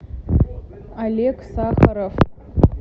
олег сахаров